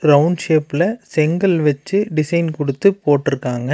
Round ஷேப்ல செங்கல் வச்சு டிசைன் கொடுத்து போட்டுருக்காங்க.